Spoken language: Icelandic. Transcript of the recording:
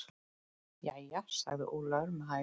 Jæja, sagði Ólafur með hægð.